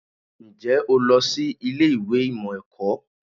Ǹjẹ́ o lọ sí ilé ìwé ìmọ̀ ẹ̀kọ́?